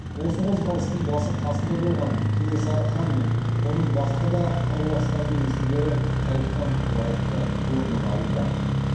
осы қозғалыстың басы қасында болған кенесары хан мен оның басқа да қаруластарының есімдері тарихтан лайықты орнын алуда